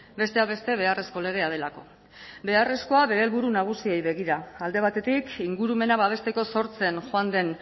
besteak beste beharrezko legea delako beharrezkoa bere helburu nagusiei begira alde batetik ingurumena babesteko sortzen joan den